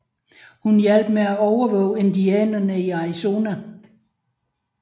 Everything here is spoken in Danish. Hun hjalp med at overvåge indianerne i Arizona